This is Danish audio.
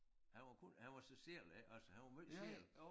Han var kun han var sig selv ik også han var måj selv